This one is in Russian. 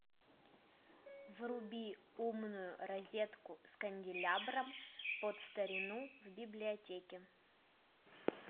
вруби умную розетку с канделябром под старину в библиотеке